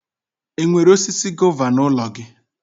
Ị nwere osisi gova n'ụlọ gị?